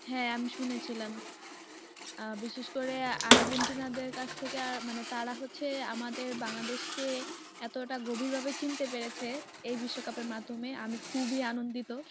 হ্যাঁ আমি শুনেছিলাম বিশেষ করে আর্জেন্টিনাদের কাছ থেকে আর মানে তারা হচ্ছে আমাদের বাংলাদেশকে এতটা গভীরভাবে চিনতে পেরেছে এই বিশ্বকাপের মাধ্যমে আমি খুবই আনন্দিত